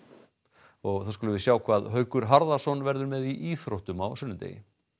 og þá skulum við sjá hvað Haukur Harðarson verður með í íþróttum á sunnudegi